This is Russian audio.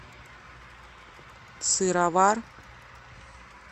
сыровар